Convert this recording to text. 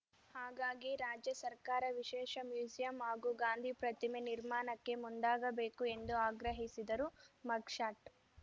ಹಾಗಾಗಿ ರಾಜ್ಯ ಸರ್ಕಾರ ವಿಶೇಷ ಮ್ಯೂಸಿಯಂ ಹಾಗೂ ಗಾಂಧಿ ಪ್ರತಿಮೆ ನಿರ್ಮಾಣಕ್ಕೆ ಮುಂದಾಗಬೇಕು ಎಂದು ಆಗ್ರಹಿಸಿದರು ಮಗ್‌ಶಾಟ್‌